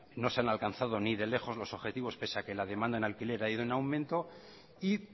no se han alcanzado ni de lejos los objetivos pese a que la demanda en alquiler ha ido en aumento y